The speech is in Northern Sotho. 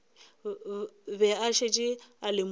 be a šetše a lemogile